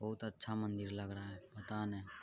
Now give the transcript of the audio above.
बहुत अच्छा मंदिर लग रहा है पता नहीं --